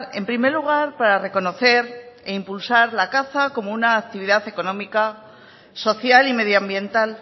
en primer lugar para reconocer para reconocer e impulsar la caza como una actividad económica social y medioambiental